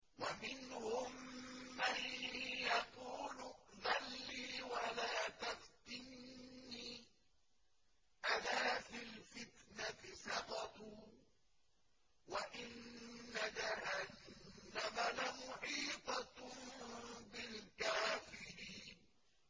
وَمِنْهُم مَّن يَقُولُ ائْذَن لِّي وَلَا تَفْتِنِّي ۚ أَلَا فِي الْفِتْنَةِ سَقَطُوا ۗ وَإِنَّ جَهَنَّمَ لَمُحِيطَةٌ بِالْكَافِرِينَ